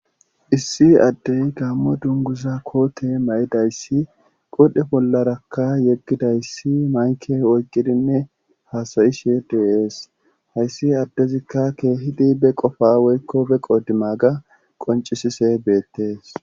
issi addey gammo dunguza koote mayidayssi qodhe bollarakka yeggidayssi mayke oykqidinne haasayishe deeees. hayssi addezikka keehidi be qofa woykko be qodima ga qoncisise beettees.